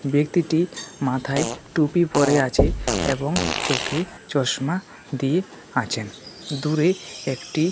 ব্যক্তিটি মাথায় টুপি পরে আছে এবং চোখে চশমা দিয়ে আছেন দূরে একটি--